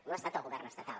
no ha estat el govern estatal